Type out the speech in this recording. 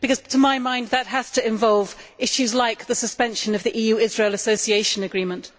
To my mind that has to involve issues like the suspension of the EU Israel Association Agreement.